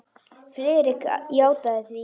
Friðrik játaði því.